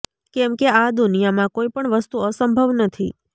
કેમ કે આ દુનિયામાં કોઈ પણ વસ્તુ અસંભવ નથી